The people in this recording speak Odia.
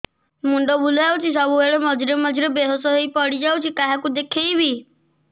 ମୁଣ୍ଡ ବୁଲାଉଛି ସବୁବେଳେ ମଝିରେ ମଝିରେ ବେହୋସ ହେଇ ପଡିଯାଉଛି କାହାକୁ ଦେଖେଇବି